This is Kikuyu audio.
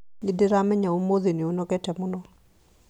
nĩndĩramenya ũmũthĩ nĩ ũnogete mũno?